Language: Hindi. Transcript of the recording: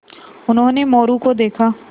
उन्होंने मोरू को देखा